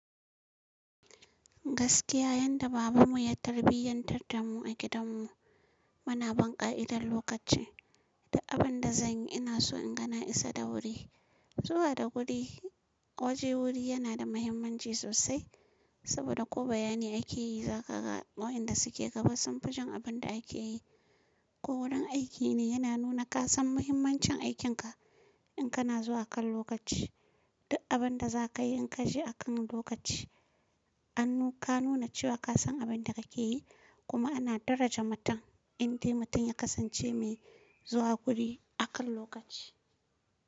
Gaskiya yadda babanmu ya tarbiyantar da mu a gidanmu, muna bin ƙa'idar lokaci. Duk abin da zan yi ina so inga na isa da wuri. Zuwa da wuri, waje wuri yana da mahimmanci sosai, saboda ko bayani aike yi za ka ga wa inda suke gaba sanfi jin abin da ake yi. Ko wurin aiki ne yana nuna ka san mahimmancin aikinka in kana zuwa kan lokaci. Duk abin da za ka yi in ka je akan lokaci. An nu-ka nuna cewa ka san abin da kake yi kuma ana daraja mutum, indai mutum ya kasance mai zuwa guri akan lokaci.